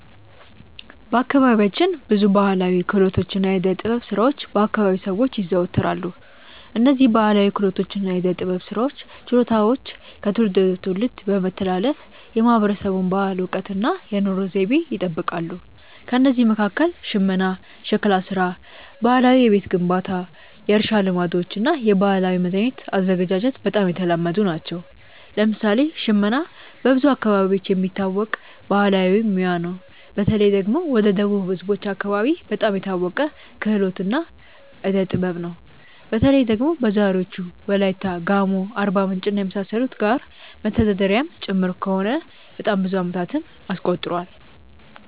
በአካባቢያችን ብዙ ባሕላዊ ክህሎቶችና የዕደ ጥበብ ሥራዎች በ አከባቢው ሰዎች ይዘወተራሉ። እነዝህ ባህላዊ ክህሎቶች እና የዕዴ ጥበብ ስራዎች ችሎታዎች ከትውልድ ወደ ትውልድ በመተላለፍ የማህበረሰቡን ባህል፣ እውቀት እና የኑሮ ዘይቤ ይጠብቃሉ። ከእነዚህ መካከል ሽመና፣ ሸክላ ሥራ፣ ባህላዊ የቤት ግንባታ፣ የእርሻ ልማዶች እና የባህላዊ መድኃኒት አዘገጃጀት በጣም የተለመዱ ናቸው። ለምሳሌ ሽመና በብዙ አካባቢዎች የሚታወቅ ባህላዊ ሙያ ነው። በተለይ ደግሞ ወደ ደቡብ ህዝቦች አከባቢ በጣም የታወቀ ክህሎት እና ዕዴ ጥበብ ነው። በተለይ ደግሞ በዛሬዎቹ ዎላይታ፣ ጋሞ፣ አርባምንጭ እና የመሳሰሉት ጋር መተዳደሪያም ጭምር ከሆነ በጣም ብዙ አመታትን አስቆጥሯል።